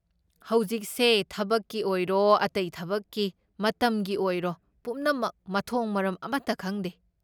ꯍꯧꯖꯤꯛꯁꯦ ꯊꯕꯛꯀꯤ ꯑꯣꯏꯔꯣ ꯑꯇꯩ ꯊꯕꯛꯀꯤ ꯃꯇꯝꯒꯤ ꯑꯣꯏꯔꯣ ꯄꯨꯝꯅꯃꯛ ꯃꯊꯣꯡ ꯃꯔꯣꯝ ꯑꯃꯇ ꯈꯪꯗꯦ꯫